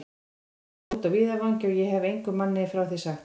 Það var úti á víðavangi, og ég hefi engum manni frá því sagt.